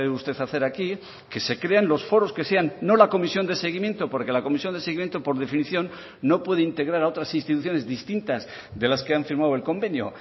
usted hacer aquí que se crean los foros que sean no la comisión de seguimiento porque la comisión de seguimiento por definición no puede integrar a otras instituciones distintas de las que han firmado el convenio